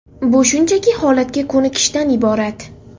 Bu shunchaki holatga ko‘nikishdan iborat.